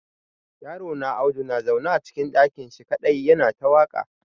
Yarona Audu na zaune a cikin ɗaki shi kadai ya na ta waƙa.